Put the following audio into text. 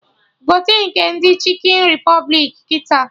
Gote nke ndị Chikin Repụblik kịta!